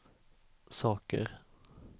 saker